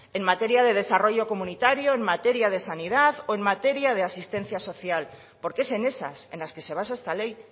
en materia de desarrollo comunitario en materia de sanidad o en materia de asistencia social porque es en esas en las que se basa esta ley